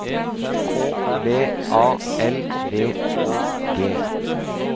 K V A L V Å G